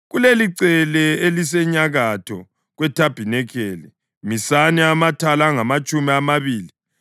Kulelicele elisenyakatho kwethabanikeli, misani amathala angamatshumi amabili